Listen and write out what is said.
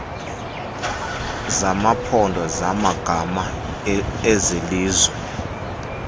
zamaphondo zamagama ezelizwe